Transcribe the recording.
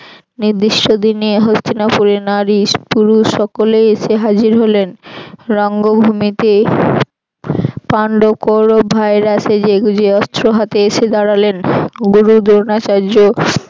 নির্দিষ্ট দিনে হস্তিনাপুরের নারী পুরুষ সকলেই এসে হাজির হলেন রঙ্গভূমিতে পান্ডব কৌরব ভাইরা সেজেগুজে অস্ত্র হাতে এসে দাড়ালেন গুরু দ্রোণাচার্য